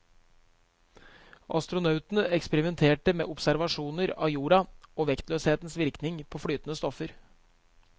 Astronautene eksperimenterte med observasjoner av jorda og vektløshetens virkning på flytende stoffer.